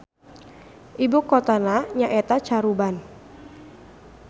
Ibukotana nyaeta Caruban.